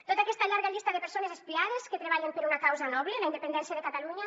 tota aquesta llarga llista de persones espiades que treballen per una causa noble la independència de catalunya